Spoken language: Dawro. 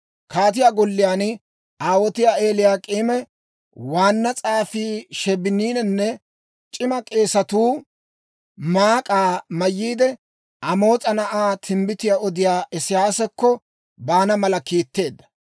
Kaatiyaa golliyaan aawotiyaa Eliyaak'iime, waanna s'aafii Sheebininne c'ima k'eesatuu maak'aa mayyiide, Amoos'a na'aa timbbitiyaa odiyaa Isiyaasakko baana mala kiitteedda.